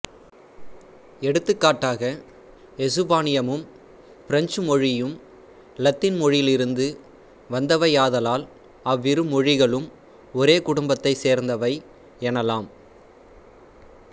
எடுத்துக்காட்டாக எசுப்பானியமும் பிரெஞ்சு மொழியும் இலத்தீன் மொழியிலிருந்து வந்தவையாதலால் அவ்விரு மொழிகளும் ஒரே குடும்பத்தைச் சேர்ந்தவை எனலாம்